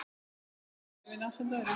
Hún smíðaði vefinn ásamt öðrum.